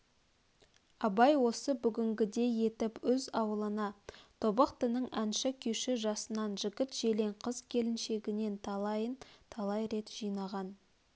абай осы бүгінгідей етіп өз аулына тобықтының әнші күйші жасынан жігіт-желең қыз-келіншегінен талайын талай рет жинаған